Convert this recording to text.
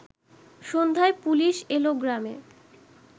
সন্ধ্যায় পুলিশ এল গ্রামে